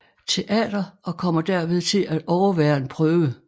Teater og kommer derved til at overvære en prøve